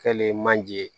Kɛlen manjee